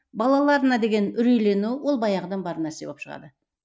балаларына деген үрейлену ол баяғыдан бар нәрсе болып шығады